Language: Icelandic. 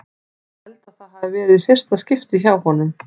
Ég held að það hafi verið í fyrsta skipti hjá honum.